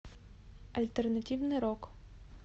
альтернативный рок